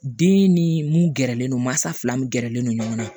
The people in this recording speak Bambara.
Den ni mun gɛrɛlen don masa fila min gɛrɛlen don ɲɔgɔn na